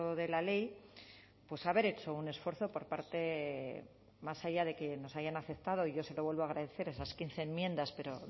de la ley pues haber hecho un esfuerzo por parte más allá de que nos hayan aceptado y yo se lo vuelvo a agradecer esas quince enmiendas pero